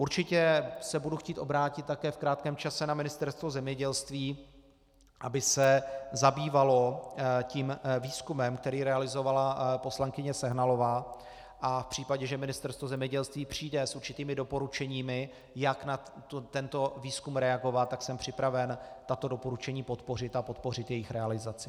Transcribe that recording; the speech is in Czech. Určitě se budu chtít obrátit také v krátkém čase na Ministerstvo zemědělství, aby se zabývalo tím výzkumem, který realizovala poslankyně Sehnalová, a v případě, že Ministerstvo zemědělství přijde s určitými doporučeními, jak na tento výzkum reagovat, tak jsem připraven tato doporučení podpořit a podpořit jejich realizaci.